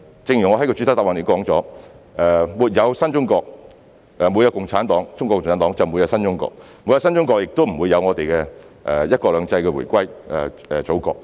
正如我在主體答覆中提到，沒有中國共產黨，便沒有新中國；沒有新中國，香港亦不會在"一國兩制"下回歸祖國。